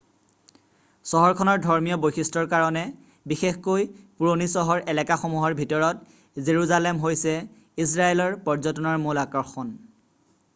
চহৰখনৰ ধৰ্মীয় বৈশিষ্ট্যৰ কাৰণে বিশেষকৈ পুৰণি চহৰ এলেকাসমূহৰ ভিতৰত জেৰুজালেম হৈছে ইজৰাইলৰ পৰ্যটনৰ মূল আকৰ্ষণ